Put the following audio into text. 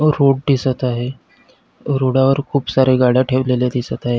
Road दिसत आहे रोडावर खुप साऱ्या गाड्या ठेवलेल्या दिसत आहेत.